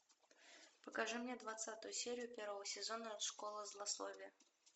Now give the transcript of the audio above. покажи мне двадцатую серию первого сезона школа злословия